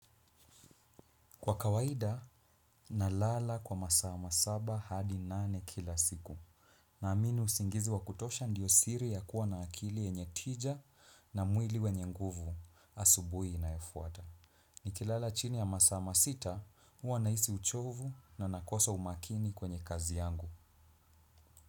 Kwa kawaida na lala kwa masaa masaba hadi nane kila siku. Naamini usingizi wa kutosha ndiyo siri ya kuwa na akili yenye tija na mwili wenye nguvu asubuhi inayofuata. Nikilala chini ya masaa masita huwa nahisi uchovu na nakosa umakini kwenye kazi yangu.